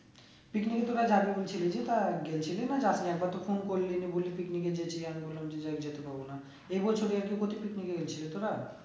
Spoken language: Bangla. picnic তোরা যাবে বলছিলি যে তা গেছিল না যাসনি? একবার তো phone করলি নে বললি যে picnic এ যেতে আমি বললাম যে যেতে পারবো না, এই বছরে তোরা?